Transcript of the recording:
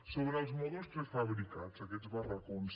sobre els mòduls prefabricats aquests barracons